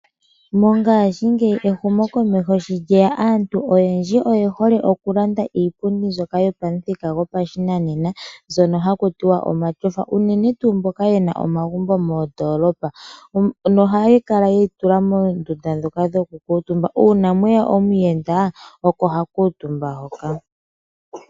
Mongaashi ngeyi ehumo komeho shi lyeya aantu oyendji oye hole okulanda iipundi yo pashinanena ndjono ha ku tiwa omatyofa unene oha yaadhina momagumbo go mondolopa noha yi tulwa moondundu ndhoka dhokukutumbwa , una mweya omuyenda oko ha kuutumba hoka.